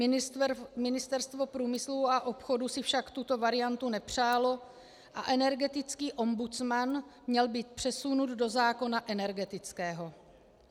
Ministerstvo průmyslu a obchodu si však tuto variantu nepřálo a energetický ombudsman měl být přesunut do zákona energetického.